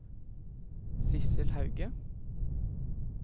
Sidsel Hauge